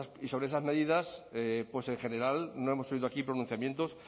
y sobre esas medidas pues en general no hemos oído aquí pronunciamientos